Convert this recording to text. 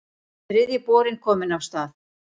Þriðji borinn kominn af stað